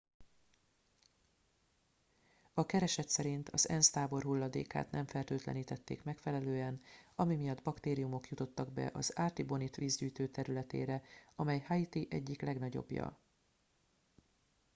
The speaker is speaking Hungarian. a kereset szerint az ensz tábor hulladékát nem fertőtlenítették megfelelően ami miatt baktériumok jutottak be az artibonite vízgyűjtő területére amely haiti egyik legnagyobbja